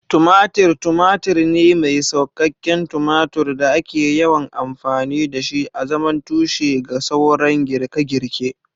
Tumatir tumatur ne mai sassauƙan tumatur da ake yawan amfani da shi azaman tushe ga sauran girke-girke.